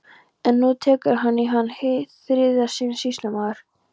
En nú tekur hann hana í hið þriðja sinn, sýslumaður!